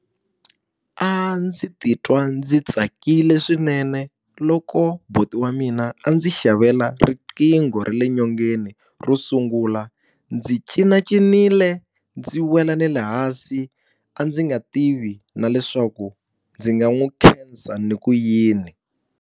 A ndzi titwa ndzi tsakile swinene loko buti wa mina a ndzi xavela riqingho ra le nyongeni ro sungula. Ndzi cinacincile ndzi wela na le hansi, a ndzi nga tivi na leswaku ndzi nga n'wi khensa ndzi ku yini.